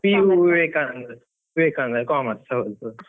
PU Vivekananda, ವಿವೇಕಾನಂದದಲ್ಲಿ Commerce ಹೌದು.